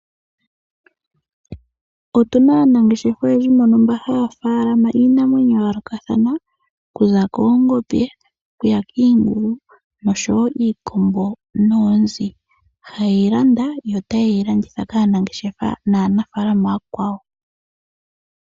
Otuna aanangeshefa oyendji mbono haya faalama iinamwenyo yayoolokathana ngaashi oongombe, iingulu, iikombo noonzi nayilwe iikwawo. Oha yeyi landa yo tayedhi landitha kaanangeshefa naanafaalama aakwawo.